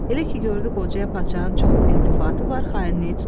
Elə ki gördü qocaya padşahın çox iltifatı var, xainliyi tutdu.